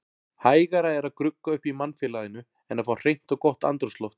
Hægara er að grugga upp í mannfélaginu en að fá hreint og gott andrúmsloft.